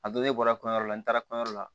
A don ne bɔra kɔɲɔyɔrɔ la n taara kɔɲɔyɔrɔ la